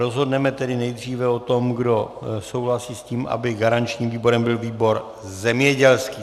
Rozhodneme tedy nejdříve o tom, kdo souhlasí s tím, aby garančním výborem byl výbor zemědělský.